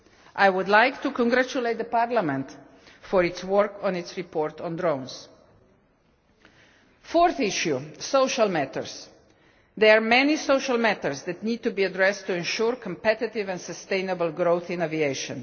I would like to congratulate Parliament on its work on its report on drones. The fourth issue social matters. There are many social matters that need to be addressed to ensure competitive and sustainable growth in aviation.